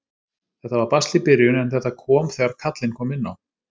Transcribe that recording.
Þetta var basl í byrjun en þetta kom þegar kallinn kom inná.